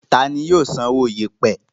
Tani yóò san owó yèèpẹ̀?